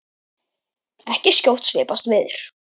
En skjótt skipast veður.